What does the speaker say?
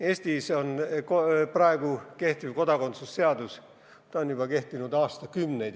Eesti praegune kodakondsuse seadus on kehtinud juba aastakümneid.